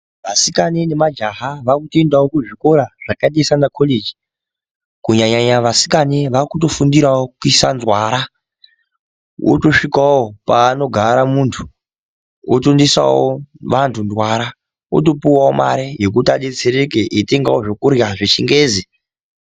Vasikana nemajaha vakutoendawo kuzvikora zvakadai semakoleji kunyanya vasikana vakuto fundirawo kuisa nzwara, wootosvikawo paanogara munthu otoisawo vanthu ndwara otopuwawo mare yekuti adetsereke eitengawo zvekurhya zvechingezi.